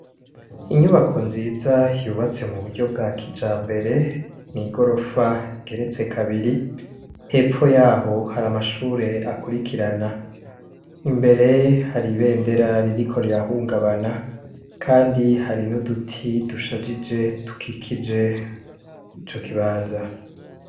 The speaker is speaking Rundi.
Inyubako nziza yubatse mu buryo bwa kijambere, n'igorofa igeretse kabiri hepfo y'aho hari amashure akurikirana, imbere hari ibendera ririko rirahungabana kandi hari n'uduti dushajije dukikije ico kibanza.